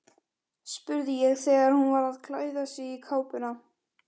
spurði ég þegar hún var að klæða sig í kápuna.